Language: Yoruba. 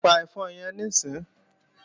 Pa ẹ̀fọn yẹn níìsín!